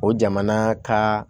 O jamana ka